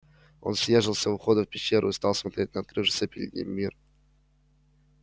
он съёжился у входа в пещеру и стал смотреть на открывшийся перед ним мир